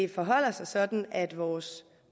det forholder sig sådan at vores